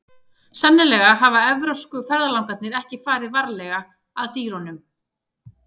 Sennilega hafa evrópsku ferðalangarnir ekki farið varlega að dýrunum.